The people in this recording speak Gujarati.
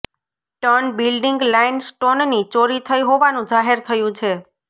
ટન બિલ્ડીંગ લાઈન સ્ટોનની ચોરી થઈ હોવાનું જાહેર થયું છે